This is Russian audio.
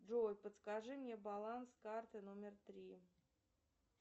джой подскажи мне баланс карты номер три